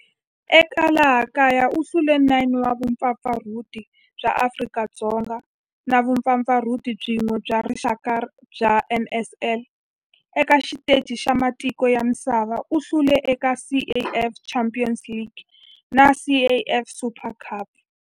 Eka laha kaya u hlule 9 wa vumpfampfarhuti bya Afrika-Dzonga na vumpfampfarhuti byin'we bya rixaka bya NSL. Eka xiteji xa matiko ya misava, u hlule eka CAF Champions League na CAF Super Cup.